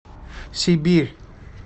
сибирь